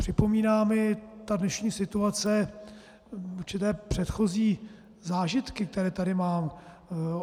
Připomíná mi ta dnešní situace určité předchozí zážitky, které tady mám.